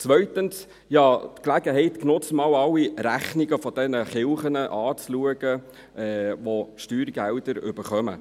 Zweitens habe ich die Gelegenheit genutzt, alle Rechnungen der Kirchen, die Steuergelder erhalten, anzuschauen.